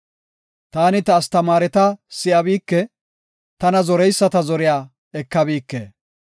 Taani ta astamaareta si7abike; tana zoreyisata zoriya ekabike.